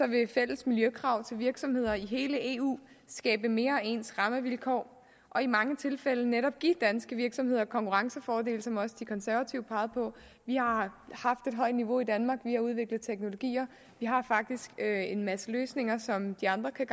vil fælles miljøkrav til virksomheder i hele eu skabe mere ens rammevilkår og i mange tilfælde netop give danske virksomheder konkurrencefordele som også de konservative pegede på vi har haft et højt niveau i danmark vi har udviklet teknologier vi har faktisk en masse løsninger som de andre kan